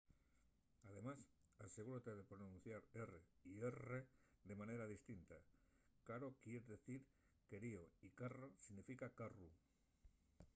además asegúrate de pronunciar r y rr de manera distinta caro quier dicir querío y carro significa carru